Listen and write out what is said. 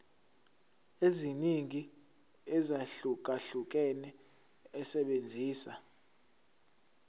eziningi ezahlukahlukene esebenzisa